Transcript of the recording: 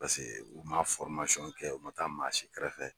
Paseke u ma kɛ u ma taa maa si kɛrɛfɛ.